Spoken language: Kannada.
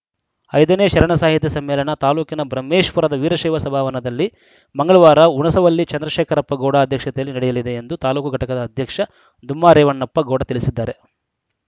ಐದನೇ ಶರಣ ಸಾಹಿತ್ಯ ಸಮ್ಮೇಳನ ತಾಲೂಕಿನ ಬ್ರಹ್ಮೇಶ್ವರದ ವೀರಶೈವ ಸಭಾವನದಲ್ಲಿ ಮಂಗಳವಾರ ಹುಣಸವಳ್ಳಿ ಚಂದ್ರಶೇಖರಪ್ಪ ಗೌಡ ಅಧ್ಯಕ್ಷತೆಯಲ್ಲಿ ನಡೆಯಲಿದೆ ಎಂದು ತಾಲೂಕು ಘಟಕದ ಅಧ್ಯಕ್ಷ ದುಮ್ಮಾ ರೇವಣಪ್ಪ ಗೌಡ ತಿಳಿಸಿದ್ದಾರೆ